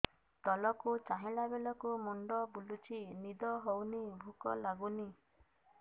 ତଳକୁ ଚାହିଁଲା ବେଳକୁ ମୁଣ୍ଡ ବୁଲୁଚି ନିଦ ହଉନି ଭୁକ ଲାଗୁନି